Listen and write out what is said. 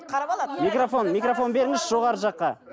микрофон микрофон беріңізші жоғары жаққа